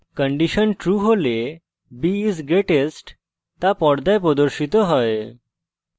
condition true হলে b is greatest তা পর্দায় প্রদর্শিত হয়